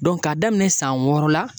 k'a daminɛ san wɔɔrɔ la.